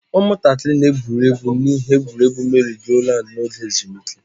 Ụmụntakịrị na-egwuri egwu n'ihe egwuriegwu merry-go-round n'oge ezumike.